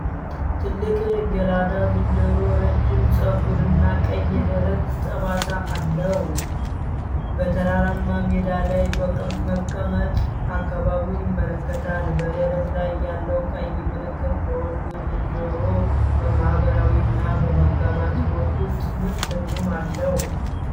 ትልቅ ጌላዳ ዝንጀሮ ረጅም ጸጉር እና ቀይ የደረት ጠባሳ አለው። በተራራማ ሜዳ ላይ በመቀመጥ አካባቢውን ይመለከታል። በደረት ላይ ያለው ቀይ ምልክት ለወንዱ ዝንጀሮ በማኅበራዊ እና በመጋባት ሕይወት ውስጥ ምን ትርጉም አለው?